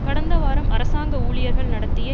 கடந்த வாரம் அரசாங்க ஊழியர்கள் நடத்திய